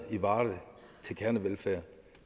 til kernevelfærd